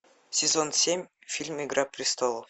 сезон семь фильм игра престолов